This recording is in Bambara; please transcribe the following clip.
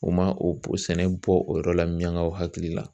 O ma o b o sɛnɛ bɔ o yɔrɔ la miyaŋaw hakili la.